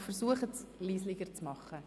Versuchen Sie, dies leiser zu tun.